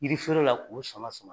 Yiri fere la k'o sama sama